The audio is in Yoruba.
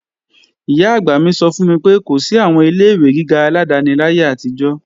Ìyá-àgbà mi sọ fún mi pé kò sí àwọn ilé-ìwé gíga aládáni láyé àtijọ́